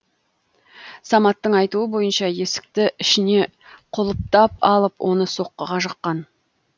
саматтың айтуы бойынша есікті ішіне құлыптап алып оны соққыға жыққан